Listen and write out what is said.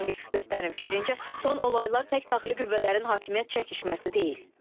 Ancaq ekspertlərin fikrincə, son olaylar tək daxili qüvvələrin hakimiyyət çəkişməsi deyil.